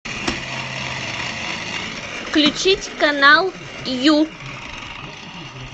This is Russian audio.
включить канал ю